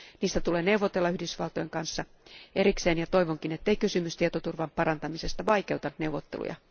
Niistä tulee neuvotella Yhdysvaltojen kanssa erikseen ja toivonkin, ettei kysymys tietoturvan parantamisesta vaikeuta neuvotteluja.